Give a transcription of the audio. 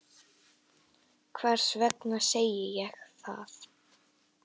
Hvers vegna segi ég það?